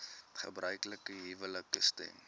gebruiklike huwelike stem